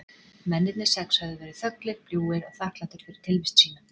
Mennirnir sex höfðu verið þöglir, bljúgir og þakklátir fyrir tilvist sína.